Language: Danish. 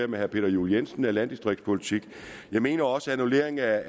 med herre peter juel jensen er landdistriktspolitik jeg mener også at annulleringen af